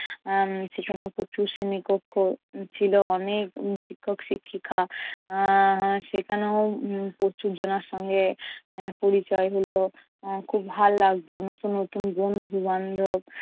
উম সেখানেও প্রচুর শ্রেণীকক্ষ ছিল, অনেক শিক্ষক শিক্ষিকা উম সেখানেও প্রচুর জনার সঙ্গে পরিচয় হলো। এর খুব ভাল লাগতো নতুন নতুন বন্ধু বান্ধব